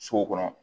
Sow kɔnɔ